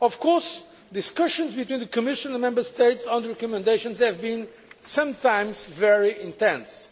Of course, discussions between the Commission and the Member States on these recommendations have sometimes been very intense,